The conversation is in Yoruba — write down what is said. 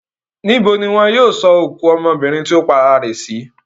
Níbo ni wọn yóò sọ òkú ọmọbìnrin tì ó para rẹ̀ sí?